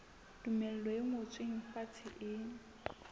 tumello e ngotsweng fatshe e